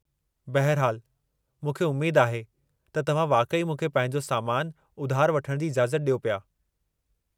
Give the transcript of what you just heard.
बहिरहालु, मूंखे उमेद आहे त तव्हां वाक़ई मूंखे पंहिंजो सामानु उधारि वठण जी इजाज़त ॾियो पिया।